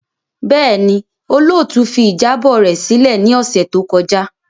Bẹẹni, olootu fi ijabọ rẹ silẹ ni ọsẹ to kọja.